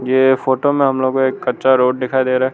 ये फोटो में हम लोग को एक कच्चा रोड दिखाई दे रहा है।